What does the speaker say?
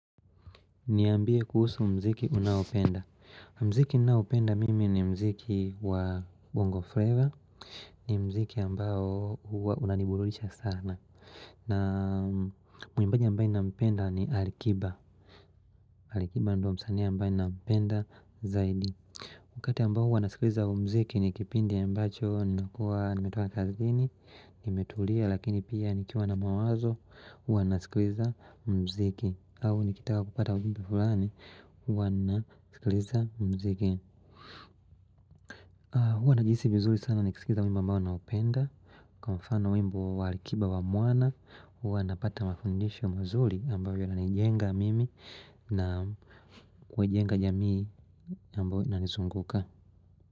Niambie kuhusu mziki unaopenda. Mziki ninaopenda mimi ni mziki wa bongo flavor. Ni mziki ambayo huwa unaniburudisha sana. Na mwimbaji ambayo ninampenda ni alikiba. Alikiba ndio msanii ambayo ninampenda zaidi. Wakati ambao huwa nasikliza mziki ni kipindi ambacho nakuwa nimetoka kazini, nimetulia lakini pia nikiwa na mawazo huwa nasikliza mziki au nikitaka kupata ujumbe fulani huwa nasikliza mziki Huwa najihisi vizuri sana niksikiza wimbo ambao naupenda Kwa mfano wimbo wa alikiba wa mwana huwa napata mafundisho mzuli ambayo yananijenga mimi na kujenga jamii ambayo inanizunguka.